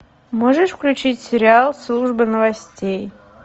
можешь включить сериал служба новостей